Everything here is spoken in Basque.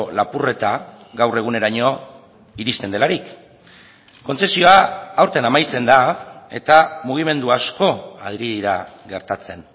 lapurreta gaur eguneraino iristen delarik kontzezioa aurten amaitzen da eta mugimendu asko ari dira gertatzen